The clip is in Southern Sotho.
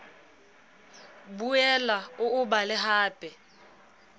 boela o o bale hape